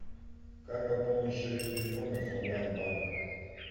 как пополнить счет телефона с онлайн банка